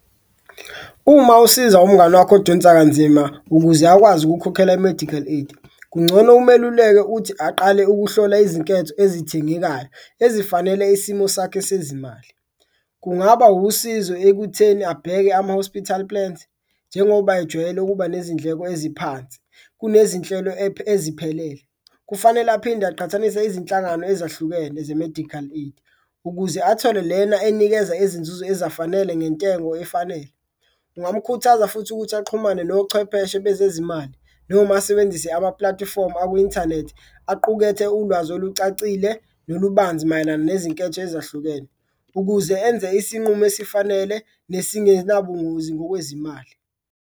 Uma usiza umngani wakho odonsa kanzima ukuze akwazi ukukhokhela i-medical aid kuncono umeluleke uthi aqale ukuhlola izinketho ezithengekayo ezifanele isimo sakhe sezimali, kungaba usizo ekutheni abheke ama-hospital plans njengoba ejwayele ukuba nezindleko eziphansi. Kunezinhlelo eziphelele, kufanele aphinde aqhathanise izinhlangano ezahlukene ze-medical aid ukuze athole lena enikeza inzuzo ezafanele ngentengo efanele. Kungamukhuthaza futhi ukuthi axhumane nochwepheshe bezezimali noma asebenzise amapulatifomu aku-inthanethi aqukethe ulwazi olucacile nolubanzi mayelana nezinketho ezahlukene, ukuze enze isinqumo esifanele nesingenabungozi ngokwezimali.